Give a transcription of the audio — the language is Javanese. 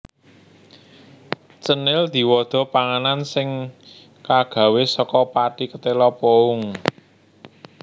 Cenil diwada panganan sing kagawé saka pathi ketéla pohung